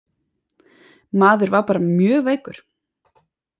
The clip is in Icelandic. Maður var bara mjög veikur.